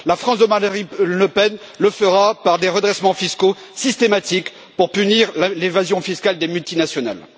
La France de Marine Le Pen le fera par des redressements fiscaux systématiques pour punir l'évasion fiscale des multinationales.